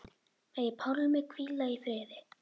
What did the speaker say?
Megi Pálmi hvíla í friði.